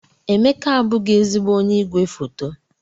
Emeka abụghị ezigbo onye igwefoto.